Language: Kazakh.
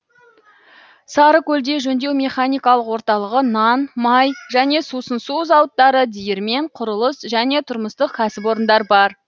сарыкөлде жөндеу механикалық орталығы нан май және сусын су зауыттары диірмен құрылыс және тұрмыстық кәсіпорындар бар